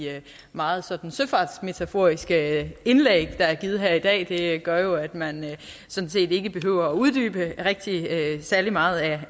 meget sådan søfartsmetaforiske indlæg der er givet her i dag det gør jo at man sådan set ikke behøver uddybe særlig meget af